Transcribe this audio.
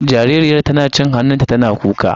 Jaririyar tana cin hannunta tana kuka.